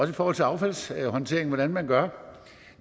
i forhold til affaldshåndteringen og hvordan man gør